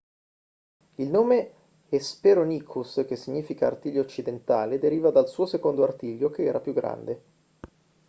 il nome hesperonychus che significa artiglio occidentale deriva dal suo secondo artiglio che era più grande